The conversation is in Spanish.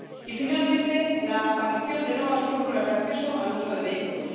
Y, finalmente, la aparición de nuevas fórmulas de acceso al uso de vehículos.